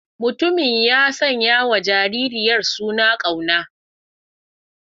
Mutumin ya sanyawa jaririyar suna Kauna.